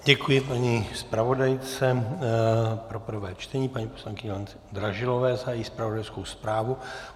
Děkuji paní zpravodajce pro prvé čtení, paní poslankyni Lence Dražilové, za její zpravodajskou zprávu.